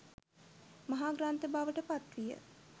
මහා ග්‍රන්ථ බවට පත් විය.